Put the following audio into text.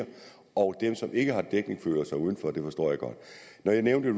og dem som ikke har dækning føler sig udenfor og det forstår jeg godt når jeg nævnte